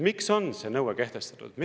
Miks on see nõue kehtestatud?